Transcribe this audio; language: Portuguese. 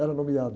Era nomeado.